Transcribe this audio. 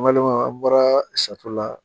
Walima an bɔra sato la